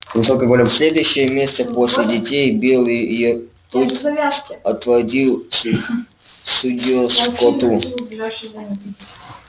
следующее место после детей белый клык отводил судье скотту